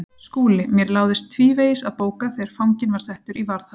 SKÚLI: Mér láðist tvívegis að bóka þegar fanginn var settur í varðhald.